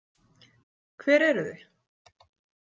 Hver eruð þið?